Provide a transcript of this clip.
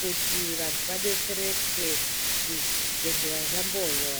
kuti vantu vadetsereke zvibhedhlera zvambonywa.